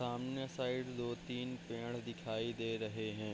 सामने साइड दो-तीन पेड़ दिखाई दे रहे हैं।